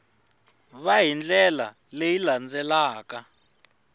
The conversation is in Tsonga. va hi ndlela leyi landzelaka